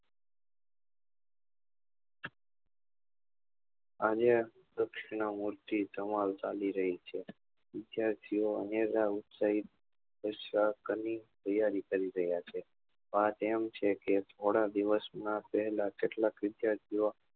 અને કૃષ્ણ મુખ થી ધમાલ ચાલી રહી છે વિદ્યાર્થીઓ અનેરા ઉત્સાહી ઉત્સાહ ક ની તૈયારી કરી રહ્યા છે વાત એમ છે કે થોડા દિવસ માં પહેલા કેટલાક વિદ્યાર્થીઓ